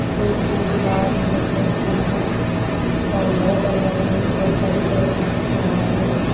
ओर पोर दीवार नीला कलर कू बणायु लाइटन लगाईं बहोत सारी बैठण कू बणायु।